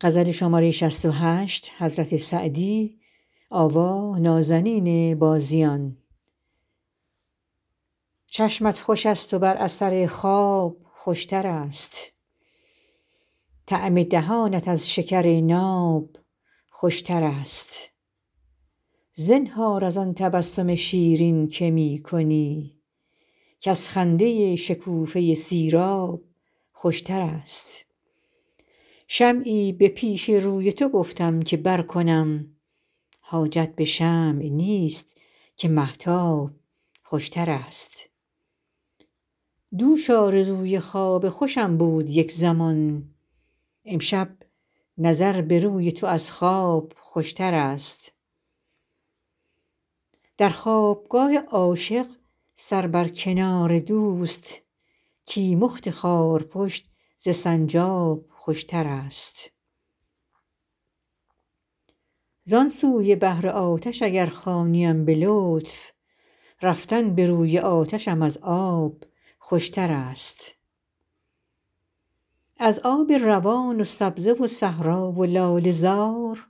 چشمت خوش است و بر اثر خواب خوش تر است طعم دهانت از شکر ناب خوش تر است زنهار از آن تبسم شیرین که می کنی کز خنده شکوفه سیراب خوش تر است شمعی به پیش روی تو گفتم که برکنم حاجت به شمع نیست که مهتاب خوش تر است دوش آرزوی خواب خوشم بود یک زمان امشب نظر به روی تو از خواب خوش تر است در خواب گاه عاشق سر بر کنار دوست کیمخت خارپشت ز سنجاب خوش تر است زان سوی بحر آتش اگر خوانیم به لطف رفتن به روی آتشم از آب خوش تر است ز آب روان و سبزه و صحرا و لاله زار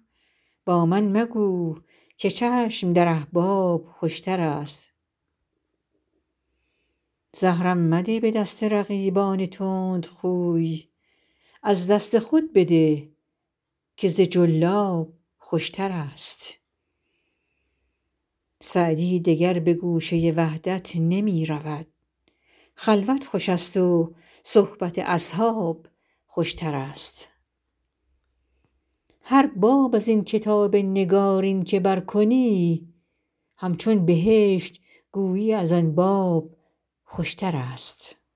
با من مگو که چشم در احباب خوش تر است زهرم مده به دست رقیبان تندخوی از دست خود بده که ز جلاب خوش تر است سعدی دگر به گوشه وحدت نمی رود خلوت خوش است و صحبت اصحاب خوش تر است هر باب از این کتاب نگارین که برکنی همچون بهشت گویی از آن باب خوشترست